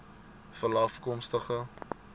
veralafkomstig